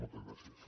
moltes gràcies